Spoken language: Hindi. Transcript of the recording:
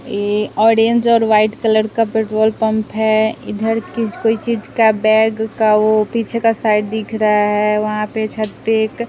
यह ऑरेंज और वाइट कलर का पेट्रोल पंप है इधर किस कोई चीज़ का बैग का वह पीछे का साइड दिख रहा है वहां पे छत पे एक।